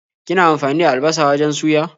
Kina amfani da albasa wajen suya?